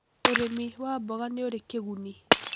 ũrĩmi wa mboga nĩũrĩ kĩgunĩ